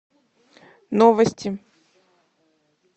новости